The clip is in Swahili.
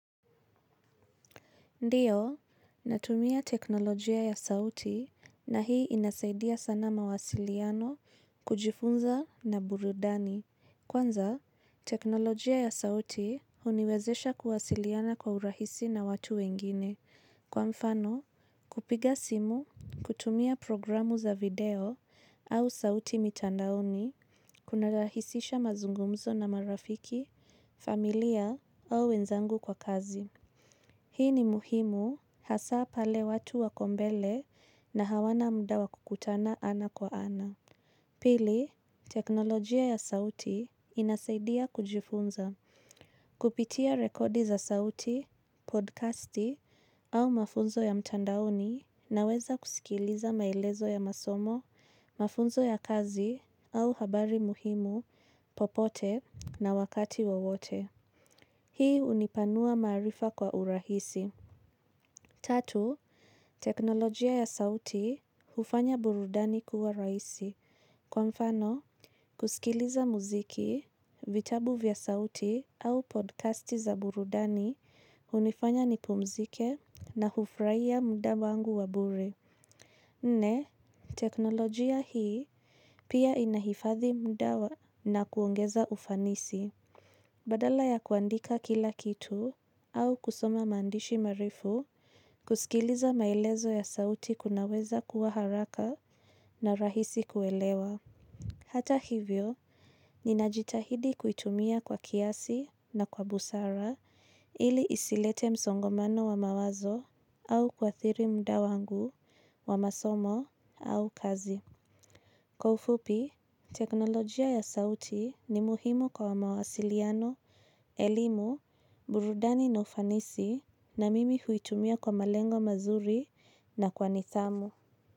Ndiyo, natumia teknolojia ya sauti na hii inasaidia sana mawasiliano, kujifunza na burudani. Kwanza, teknolojia ya sauti uniwezesha kuwasiliana kwa urahisi na watu wengine. Kwa mfano, kupiga simu, kutumia programu za video au sauti mitandaoni, kuna rahisisha mazungumzo na marafiki, familia au wenzangu kwa kazi. Hii ni muhimu hasa pale watu wakombele na hawana mda wa kukutana ana kwa ana. Pili, teknolojia ya sauti inasaidia kujifunza. Kupitia rekodi za sauti, podcasti au mafunzo ya mtandaoni na weza kusikiliza maelezo ya masomo, mafunzo ya kazi au habari muhimu, popote na wakati wowote. Hii unipanua marifa kwa urahisi. Tatu, teknolojia ya sauti hufanya burudani kuwa raisi. Kwa mfano, kusikiliza muziki, vitabu vya sauti au podcasti za burudani unifanya nipumzike na hufraia mda wangu wa bure. Nne, teknolojia hii pia inahifathi mda wa na kuongeza ufanisi. Badala ya kuandika kila kitu au kusoma mandishi marefu, kusikiliza maelezo ya sauti kunaweza kuwa haraka na rahisi kuelewa. Hata hivyo, ninajitahidi kuitumia kwa kiasi na kwa busara ili isilete msongomano wa mawazo au kwa thiri mda wangu wa masomo au kazi. Kwa ufupi, teknolojia ya sauti ni muhimu kwa mawasiliano, elimu, burudani na ufanisi na mimi huitumia kwa malengo mazuri na kwa nithamu.